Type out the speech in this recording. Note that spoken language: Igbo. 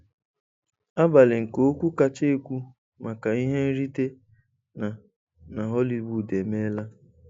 Abalị nke okwu kacha ekwu maka ihe nrite na na Hollywood emeela.